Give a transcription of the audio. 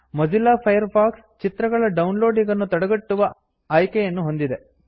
Mozilla Firefox ಚಿತ್ರಗಳ ಡೌನ್ ಲೋಡಿಂಗನ್ನು ತಡೆಗಟ್ಟುವ ಆಯ್ಕೆಯನ್ನು ಹೊಂದಿದೆ